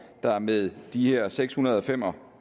der med de her seks hundrede og fem og